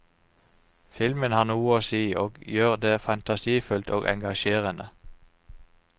Filmen har noe å si, og gjør det fantasifullt og engasjerende.